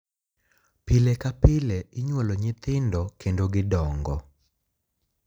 Pile ka pile inyuolo nyithindo kendo gidongo.